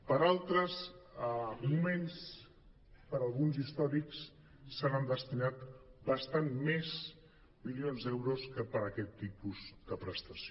per a altres moments per a alguns històrics s’hi han destinat bastants més mi·lions d’euros que per a aquest tipus de prestació